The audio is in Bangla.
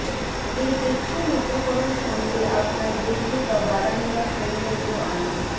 এই টেকসই উপকরণ সঙ্গে আপনার ডেকে বা বারান্দা সৌন্দর্য আনা